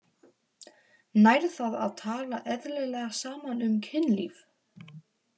Nær það að tala eðlilega saman um kynlíf?